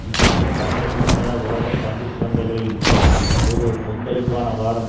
இக்கூட்டங்களுக்கு முன்னதாக உலக பங்கு சந்தைகளில் ஒரு கொந்தளிப்பான வாரம்